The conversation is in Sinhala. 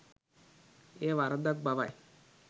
එය වරදක් බවයි.